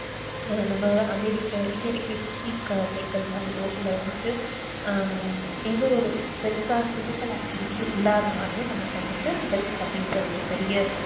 நம்ம இல்ல வந்துட்டு ஆஹ் எந்த ஒரு பெருசா physicalactivity இல்லாத நாளையோ நமக்கு வந்துட்டு health அப்டின்குற ஒரு பெரிய